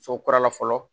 So kurala fɔlɔ